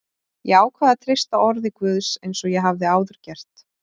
Ég ákvað að treysta orði Guðs eins og ég hafði áður gert.